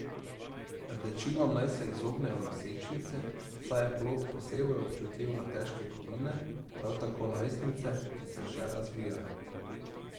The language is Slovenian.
Rdečilom naj se izognejo nosečnice, saj je plod posebej občutljiv na težke kovine, prav tako najstnice, ki se še razvijajo.